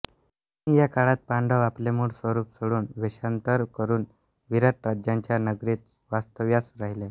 म्हणून या काळात पांडव आपले मुळ स्वरूप सोडून वेषांतर करून विराट राजाच्या नगरीत वास्तव्यास राहिले